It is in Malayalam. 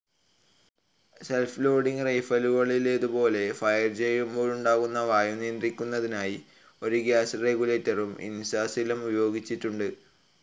സെൽഫ്‌ ലോഡിംഗ്‌ റൈഫിളിലേതുപോലെ ഫയർ ചെയ്യുമ്പോളുണ്ടാകുന്ന വായു നിയന്ത്രിക്കുന്നതിനായി ഒരു ഗ്യാസ്‌ റെഗുലേറ്റർ ഇൻസാസിലും ഉപയോഗിച്ചിട്ടുണ്ട്.